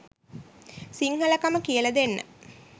සිංහලකම කියලා දෙන්න